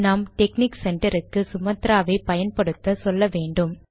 நாம் டெக்னிக் சென்டருக்கு சுமாத்ரா வை பயன்படுத்த சொல்ல வேண்டும்